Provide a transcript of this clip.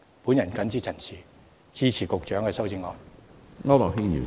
我謹此陳辭，支持局長的修正案。